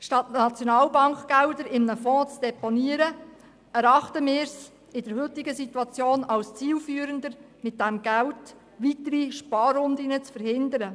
Anstatt SNB-Gelder in einem Fonds zu deponieren, erachten wir es in der heutigen Situation als zielführender, mit diesem Geld weitere Sparrunden zu verhindern.